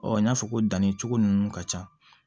n y'a fɔ ko dannicogo ninnu ka ca